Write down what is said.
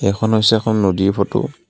এইখন হৈছে এখন নদীৰ ফটো .